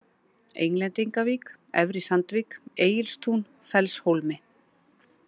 Englendingavík, Efri-Sandvík, Egilstún, Fellshólmi